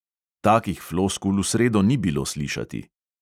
Takih floskul v sredo ni bilo slišati.